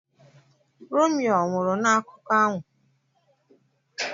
Romeo ọnwụrụ n'akụkọ ahụ?